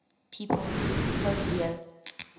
pope leo